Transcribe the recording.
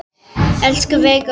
Elsku Veiga okkar.